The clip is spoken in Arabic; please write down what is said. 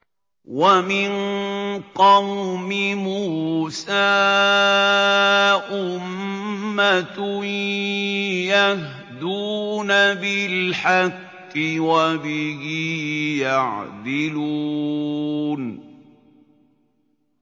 وَمِن قَوْمِ مُوسَىٰ أُمَّةٌ يَهْدُونَ بِالْحَقِّ وَبِهِ يَعْدِلُونَ